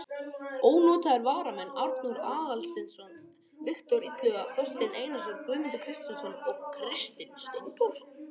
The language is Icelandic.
Ónotaðir varamenn: Arnór Aðalsteinsson, Viktor Illugason, Þorsteinn Einarsson, Guðmundur Kristjánsson, Kristinn Steindórsson.